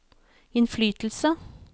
innflytelse